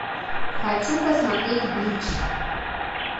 хочу посмотреть блич